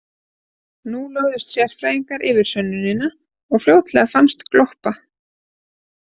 Nú lögðust sérfræðingar yfir sönnunina og fljótlega fannst gloppa.